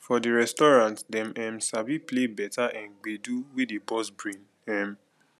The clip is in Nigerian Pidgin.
for di restaurant dem um sabi play better um gbedu wey dey burst brain um